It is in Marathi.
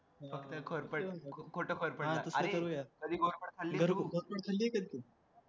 अरे कधी घोरपड खाल्लेय का तू